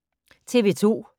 TV 2